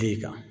I kan